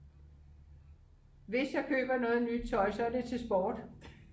hvis jeg køber noget nyt tøj så er det til sport